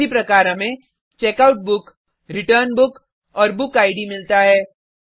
उसी प्रकार हमें checkout book return book और बुक इद मिलता है